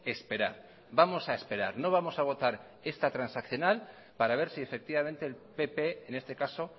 esperar vamos a esperar no vamos a votar esta transaccional para ver si efectivamente el pp en este caso